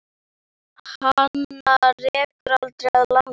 Hana rekur aldrei að landi.